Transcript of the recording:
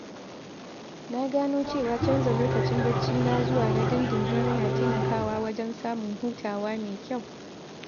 Na gano cewa canza lokacin bacci na zuwa na dindindin yana taimakawa wajen samun hutawa mai kyau.